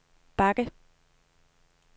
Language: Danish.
bakke